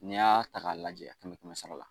N'i y'a ta k'a lajɛ a kɛmɛ kɛmɛ sara la